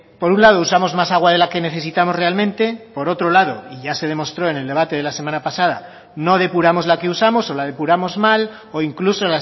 por un lado usamos más agua de la que necesitamos realmente por otro lado y ya se demostró en el debate de la semana pasada no depuramos la que usamos o la depuramos mal o incluso